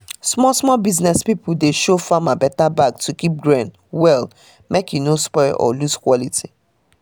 small-small business pipo dey show farmer better bag to keep grain well mek e no spoil or lose quality